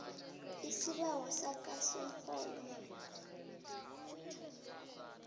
isibawo sakho somrholo